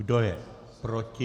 Kdo je proti?